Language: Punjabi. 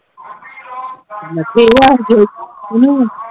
ਦੇਖ ਆਣ ਕੇ